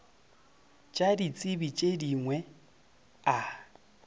tša ditsebi tše dingwe a